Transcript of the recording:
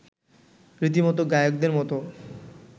রীতিমতো গায়কদের মতো